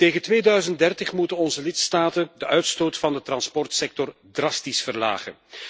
Tegen 2030 moeten onze lidstaten de uitstoot van de transportsector drastisch verlagen.